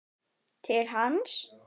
Til hans.